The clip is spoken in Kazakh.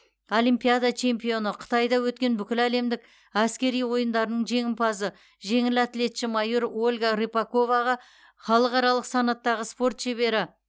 олимпиада чемпионы қытайда өткен бүкіләлемдік әскери ойындарының жеңімпазы жеңіл атлетші майор ольга рыпаковаға халықаралық санаттағы спорт шебері